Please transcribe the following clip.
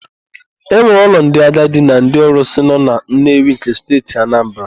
E nwere ụlọ ndị agadi na ndị ọrụsị nọ na Nnewi nke Steeti Anambara.